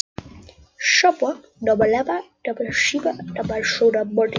Flugvélin steig til himins klukkan hálfellefu á mánudagsmorgni.